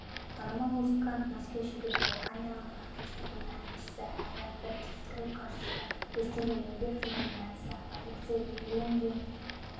танымал музыкант мәскеу шеберлері камералық оркестрінің әншісі әрі бірінші скрипкасы ресейдің еңбек сіңірген әртісі алексей лундин